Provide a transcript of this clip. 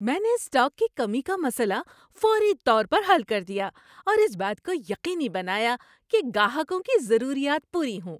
میں نے اسٹاک کی کمی کا مسئلہ فوری طور پر حل کر دیا اور اس بات کو یقینی بنایا کہ گاہکوں کی ضروریات پوری ہوں۔